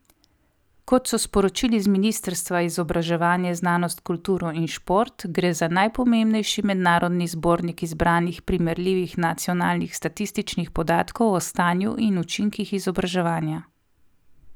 Kot so sporočili z ministrstva izobraževanje, znanost, kulturo in šport, gre za najpomembnejši mednarodni zbornik izbranih primerljivih nacionalnih statističnih podatkov o stanju in učinkih izobraževanja.